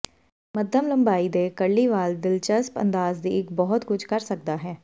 ਮੱਧਮ ਲੰਬਾਈ ਦੇ ਕਰਲੀ ਵਾਲ ਦਿਲਚਸਪ ਅੰਦਾਜ਼ ਦੀ ਇੱਕ ਬਹੁਤ ਕੁਝ ਕਰ ਸਕਦਾ ਹੈ